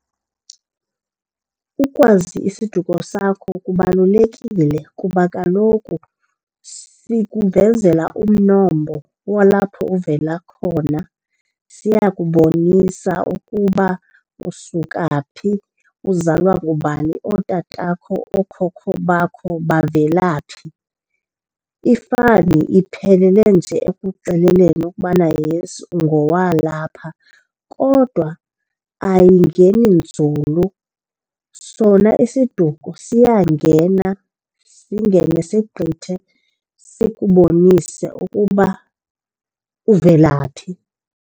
Ukwazi isiduko sakho kubalulekile kuba kaloku sikuvezela umnombo walapho uvela khona. Siya kubonisa ukuba usuka phi uzalwa ngubani, ootatakho, ookhokho bakho bavela phi. Ifani iphelele nje ekuxeleleni ukubana, yes, ungowalapha kodwa ayingeni nzulu. Sona isiduko siyangena, singene sigqithe sikubonise ukuba uvelaphi.